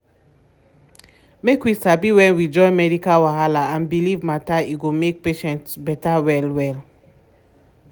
make we sabi when we join medical wahala and belief matter e go make patient better well well.